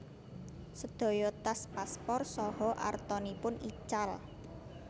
Sedaya tas paspor saha artanipun ical